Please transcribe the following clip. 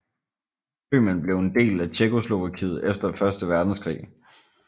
Bøhmen blev en del af Tjekkoslovakiet efter første verdenskrig